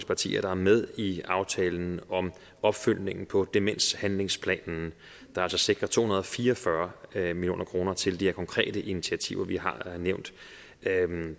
partier er med i aftalen om opfølgningen på demenshandlingsplanen der altså sikrer to hundrede og fire og fyrre fyrre million kroner til de her konkrete initiativer vi har nævnt